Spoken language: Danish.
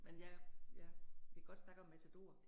Men ja, ja, vi godt snakke om Matador